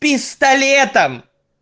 пистолетом